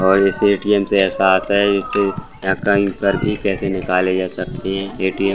और इस ए.टी.एम. से ऐसा आता है की एकाउंट पर भी पैसे निकाले जा सकते हैं। ए.टी.एम. --